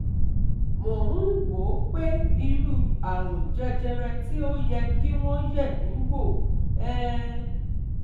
Mò ń wò ó pé irú àrùn jẹjẹrẹ tí ó yẹ kí wọ́n yẹ̀ mí wò um